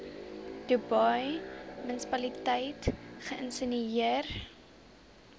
dubai munisipaliteit geïnisieer